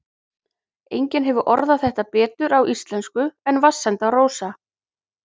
Enginn hefur orðað þetta betur á íslensku en Vatnsenda-Rósa